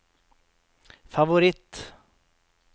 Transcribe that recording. favoritt